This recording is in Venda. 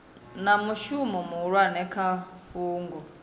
na mushumo muhulwane kha fhungo